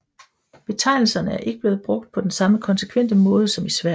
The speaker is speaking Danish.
Betegnelserne er ikke blevet brugt på den samme konsekvente måde som i Sverige